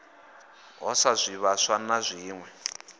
ho sa zwivhaswa na zwiwe